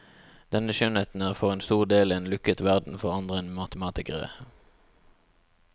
Denne skjønnheten er for en stor del en lukket verden for andre enn matematikere.